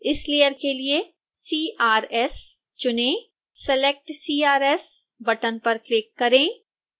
इस लेयर के लिए crs चुनें select crs बटन पर क्लिक करें